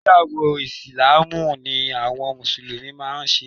Ìgbéyàwọ́ ìsìláámù ni àwọn mùsùlùmí máa ń ṣe